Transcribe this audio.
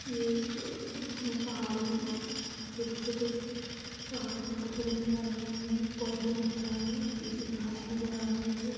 ये एक उसमें पहाड़ी छोटे-छोटे पहाड़ के टुकड़े नजर आ रहे हैं पोधे नज़र आ रहे हैं पीली घास नजर आ रही है।